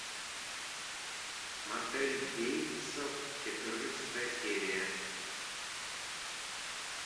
мотель бейтсов четырнадцатая серия